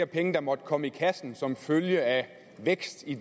penge der måtte komme i kassen som følge af vækst i